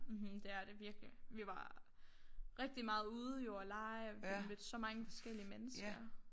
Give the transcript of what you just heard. Mhm det er det virkelig vi var rigtig meget ude jo og lege og vi mødte så mange forskellige mennesker